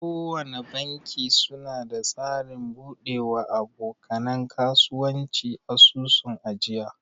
Kowana banki suna da tsarin bude wa aboka nan kasuwanci asusun ajiya.